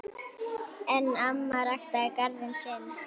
En amma ræktaði garðinn sinn.